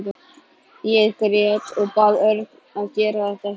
Ég grét og bað Örn að gera þetta ekki.